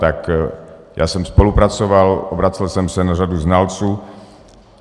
Tak já jsem spolupracoval, obracel jsem se na řadu znalců.